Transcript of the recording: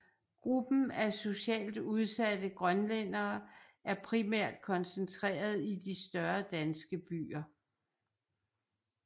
Gruppen af socialt udsatte grønlændere er primært koncentreret i de større danske byer